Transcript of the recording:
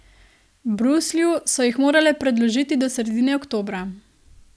Bruslju so jih morale predložiti do sredine oktobra.